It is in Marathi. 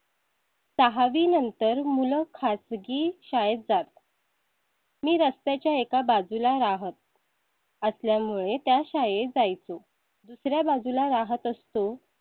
सहा वी नंतर मूल खासगी शाळेत जात . मी रस्त्याच्या एका बाजूला राहत. असल्यामुळे त्या शाळेत जायचो दुसर्या बाजूला राहत असतो